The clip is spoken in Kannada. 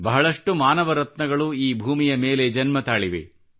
ಬಹಳಷ್ಟು ಮಾನವ ರತ್ನಗಳು ಈ ಭೂಮಿಯ ಮೇಲೆ ಜನ್ಮತಾಳಿವೆ